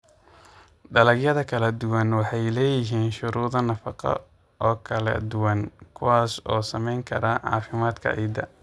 Dalagyada kala duwani waxay leeyihiin shuruudo nafaqo oo kala duwan kuwaas oo saamayn kara caafimaadka ciidda.